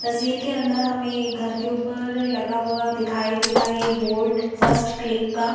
तस्वीर के अंदर हमें घर के ऊपर लगा हुआ दिखाई दे रहा है ये बोर्ड फर्स्ट क्लिक का--